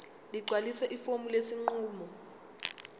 ligcwalise ifomu lesinqumo